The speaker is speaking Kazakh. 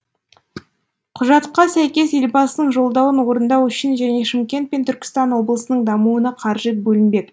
құжатқа сәйкес елбасының жолдауын орындау үшін және шымкент пен түркістан облысының дамуына қаржы бөлінбек